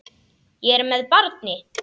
Ég er með barni.